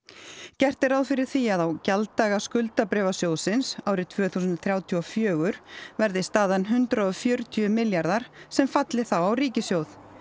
gert er ráð fyrir því að á gjalddaga skuldabréfa sjóðsins árið tvö þúsund þrjátíu og fjögur verði staðan hundrað og fjörutíu milljarðar sem falli þá á ríkissjóð